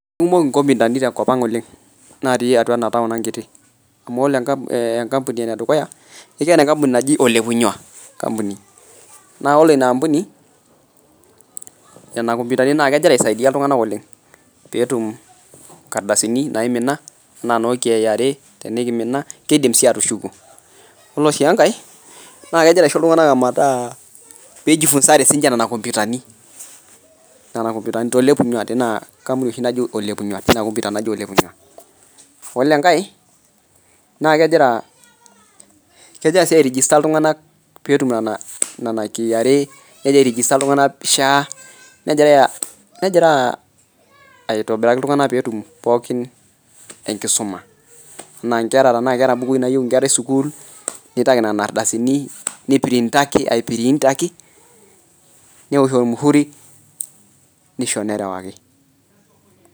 Kumok inkomindani tenkopang' oleng' naati ena taon ang' kiti, amuu ore ee enkampuni ene dukuya ekiyata enkampuni naji Ole Punyua enkampuni naa ore ina aampuni, nena kompyutani naa kegira aisaidia iltung'ana oleng' peetum inkardasini naimina enaa noo KRA , tenimina kiidim sii atushuku, iyolo sii enkae, naa kegira aisho iltung'ana metaa piijifunzare nena kompyutani nena kompyutani tole Punyua tina kampuni tina kompyuta naji Ole Punyua yilo enkae naa kegira sii airejista iltung'ana peetum nena nena KRA negira airejesta iltungana peetum SHA negira negira aitobiraki iltung'ana peetum pookin enkisuma, enaa inkera tenaa keeta ilbukui naayeu esukul nitaki nena arrtasini nitaki nipirrintaki apirrintaki, neosh olmuhuru nisho nerewaki.